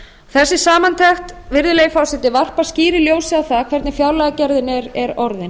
þessi samantekt virðulegi forseti varpar skýru ljósi á það hvernig fjárlagagerðin er orðin